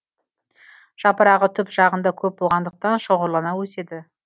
жапырағы түп жағында көп болғандықтан шоғырлана өседі